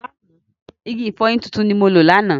Igi ìfọyín tuntun ni mo lò lánàá.